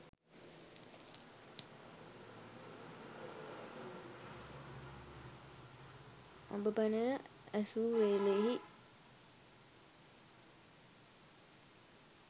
අඹ පැනය ඇසූ වේලෙහි